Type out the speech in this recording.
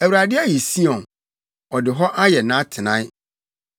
Awurade ayi Sion, ɔde hɔ ayɛ nʼatenae: